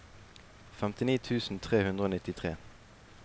femtini tusen tre hundre og nittitre